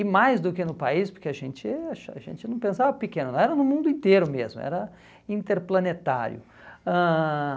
E mais do que no país, porque a gente acha a gente não pensava pequeno, era no mundo inteiro mesmo, era interplanetário. Ãh